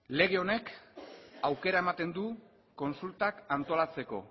lege honek aukera ematen du kontsultak antolatzeko